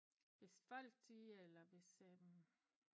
Hvis folk de eller hvis